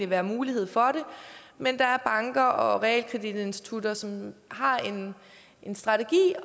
være mulighed for det men der er banker og realkreditinstitutter som har en strategi